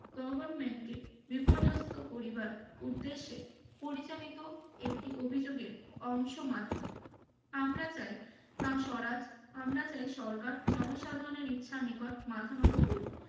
Government কে বিপর্যস্ত করিবার উদ্দেশ্যে পরিচালিত একটি অভিযোগের অংশ মাত্র আমরা চাই কা স্বরাজ আমরা চাই সরকার জনসাধারণের ইচ্ছার নিকট মাথা নত করুক